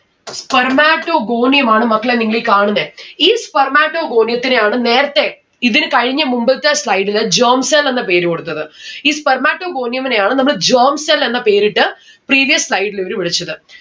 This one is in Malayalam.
spermatogonium ആണ് മക്കളെ നിങ്ങളീ കാണുന്നെ. ഈ spermatogonium ത്തിനെയാണ് നേരത്തെ ഇതിന് കഴിഞ്ഞ മുമ്പത്തെ slide ന് germ cells എന്ന പേര് കൊടുത്തത്. ഈ spermatogonium നെയാണ് നമ്മള് germ cell എന്ന പേരിട്ട് previous slide ല് ഇവര് വിളിച്ചത്.